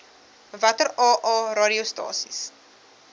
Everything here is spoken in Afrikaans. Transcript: watter aa radiostasies